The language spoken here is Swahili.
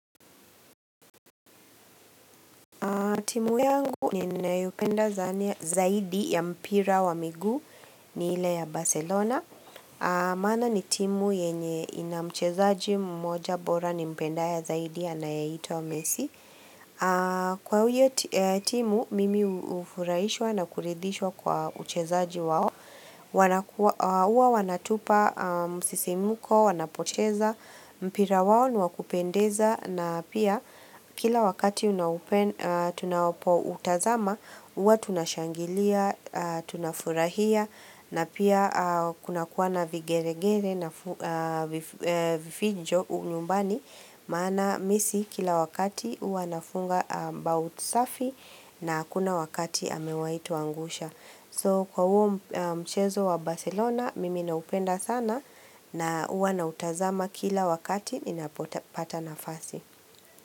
Timu yangu ninayopenda zaidi ya mpira wa migu ni ile ya Barcelona. Maana ni timu yenye ina mchezaji mmoja bora nimpendaye zaidi anayeito wa mesi. Kwa huyo timu, mimi ufurahishwa na kuridhishwa kwa uchezaji wao. Uwa wanatupa, msisimuko, wanapocheza mpira wao ni wa kupendeza. Na pia kila wakati tunapoutazama Uwa tunashangilia, tunafurahia na pia kunakuwa vigeregere na vifijo unyumbani Maana mi si kila wakati uwa nafunga bau tsafi na kuna wakati amewai tuangusha So kwa uo mchezo wa Barcelona Mimi naupenda sana na uwa na utazama kila wakati inapota nafasi.